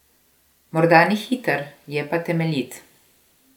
Morda ni hiter, je pa temeljit.